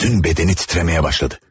Bütün bədəni titrəməyə başladı.